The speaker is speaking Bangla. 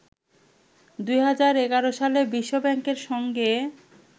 ২০১১সালে বিশ্ব ব্যাংকের সঙ্গে